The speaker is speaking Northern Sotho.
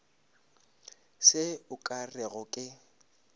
se o ka rego ke